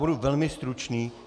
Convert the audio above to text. Budu velmi stručný.